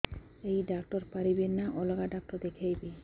ଏଇ ଡ଼ାକ୍ତର ପାରିବେ ନା ଅଲଗା ଡ଼ାକ୍ତର ଦେଖେଇବି